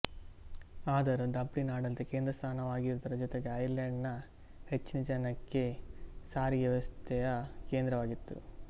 ಆದರೂ ಡಬ್ಲಿನ್ ಆಡಳಿತದ ಕೇಂದ್ರ ಸ್ಥಾನವಾಗಿರುವುದರ ಜೊತೆಗೆ ಐರ್ಲೆಂಡ್ ನ ಹೆಚ್ಚಿನ ಜನಕ್ಕೆ ಸಾರಿಗೆ ವ್ಯವಸ್ಥೆಯ ಕೇಂದ್ರವಾಗಿತ್ತು